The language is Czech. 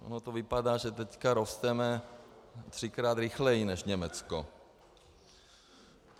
Ono to vypadá, že teď rosteme třikrát rychleji než Německo.